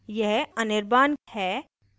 यह anirban है